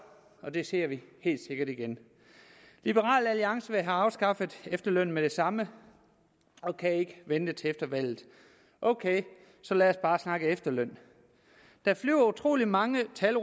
og det ser vi helt sikkert igen liberal alliance vil have afskaffet efterlønnen med det samme og kan ikke vente til efter valget ok lad os bare snakke om efterløn der flyver utrolig mange tal